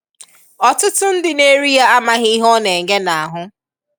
Ọtụtụ ndị na-eri ya amaghị ihe ọ na-enye n'ahụ.